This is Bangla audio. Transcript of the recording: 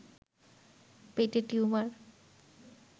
পেটে টিউমার